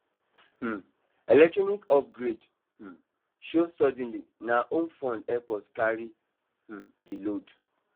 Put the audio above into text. um electronic upgrade um show suddenly na home fund help us carry um the load